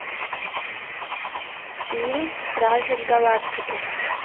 фильм стражи галактики